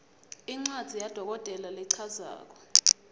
incwadzi yadokotela lechazako